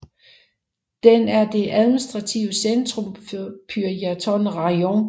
Den er det administrative centrum for Pyrjatyn rajon